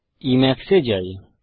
Emacs এ যাই